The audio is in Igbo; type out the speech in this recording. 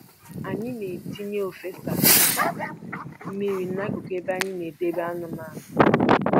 Anyị na-etinye ofesa mmiri n'akụkụ ebe a na-edebe anụmanụ